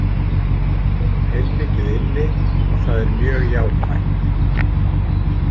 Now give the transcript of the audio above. Hún á heilmikið inni og það er mjög jákvætt.